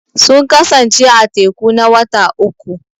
Sun kasance a teku na wata uƙu.